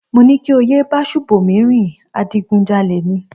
Mo ní kí o yé bá Ṣùbòmí rìn, adigunjalè ni